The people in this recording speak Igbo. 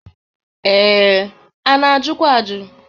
Ee, a na-ajụkwa ajụ.